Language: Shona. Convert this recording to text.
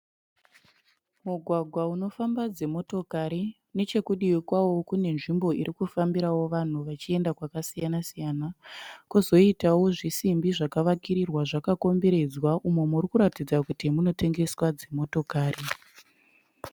Mugwagwa unofamba dzi motokari nechekudivi kwawo kune nzvimbo irikufambirawo vanhu vachienda kwaka siyana-siyana kuzoitawo zvidimbi zvakavakirirwa zvakakomberedzwa umo muri kuratidza kuti munotengeswa dzi motokari.